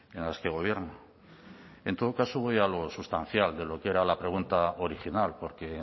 en las que gobierna en todo caso voy a lo sustancial de lo que era la pregunta original porque